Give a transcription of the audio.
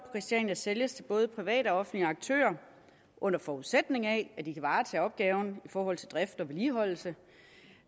christiania sælges til både private og offentlige aktører under forudsætning af at de kan varetage opgaven i forhold til drift og vedligeholdelse